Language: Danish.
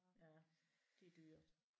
Ja det er dyrt